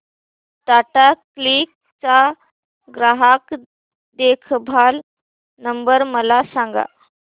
टाटा क्लिक चा ग्राहक देखभाल नंबर मला सांगा